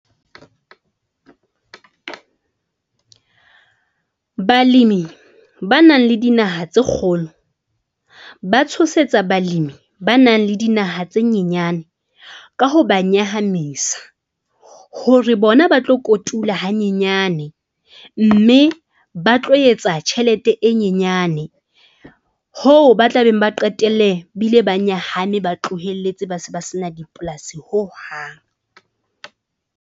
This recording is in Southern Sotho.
Balemi ba nang le dinaha tse kgolo, ba tshosetsa balemi ba nang le dinaha tse nyenyane ka ho ba nyahamisa. Hore bona ba tlo kotula hanyenyane mme ba tlo etsa tjhelete e nyenyane hoo ba tla beng ba qetelle bile ba nyahame. Ba tlohelletse ba se ba sena dipolasi hohang.